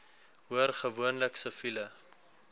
hoor gewoonlik siviele